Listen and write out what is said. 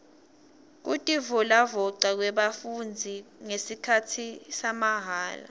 kutivolavoca kwebafundzi ngesikhatsi samahala